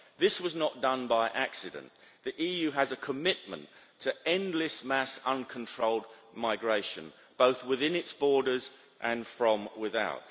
This was not done by accident. The EU has a commitment to endless, mass, uncontrolled migration, both within its borders and from without.